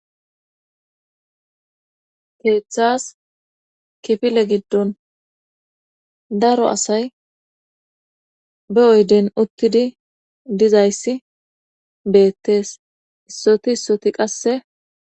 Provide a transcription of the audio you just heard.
keeththas kifile giddon daro asay be oyden uttidi dizayssi beettees issoti issoti qasse